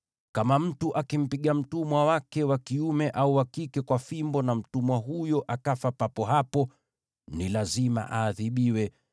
“Kama mtu akimpiga mtumwa wake wa kiume au wa kike kwa fimbo na mtumwa huyo akafa papo hapo, ni lazima aadhibiwe